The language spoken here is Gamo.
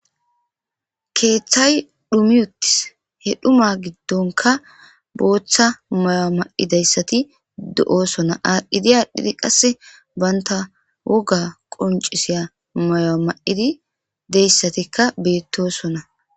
Keththay dhuumi uttis he dhuuma giddonkka boththa mayo mayidayssati de'ossonna adhidi adhidi qase bantta wogga qonccisiya hedzdzayikka de'ossonna